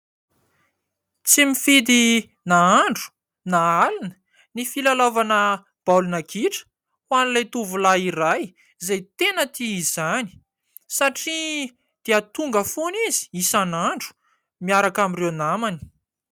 Tsy mifidy na andro na alina ny filalaovana baolina kitra ho an'ilay tovolahy iray izay tena tia izany satria dia tonga foana izy isan'andro miaraka amin'ireo namany.